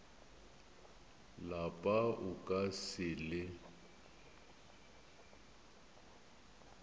lapa o ka se le